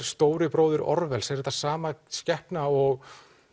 stóri bróðir Orwells er þetta sama skepna og